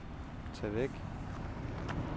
tag væk